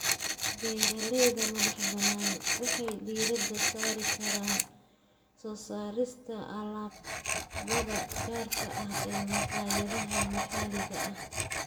Beeralayda madaxbannaan waxay diiradda saari karaan soo saarista alaabada gaarka ah ee maqaayadaha maxalliga ah.